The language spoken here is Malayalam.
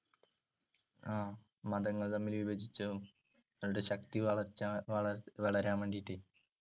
ആഹ് മതങ്ങള്‍ തമ്മില്‍ വിഭജിച്ചതും, രണ്ട് ശക്തി വളര്‍ച്ച വള~വളരാന്‍ വേണ്ടീട്ട്